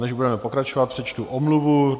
Než budeme pokračovat, přečtu omluvu.